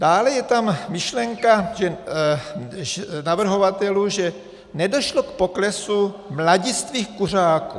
Dále je tam myšlenka navrhovatelů, že nedošlo k poklesu mladistvých kuřáků.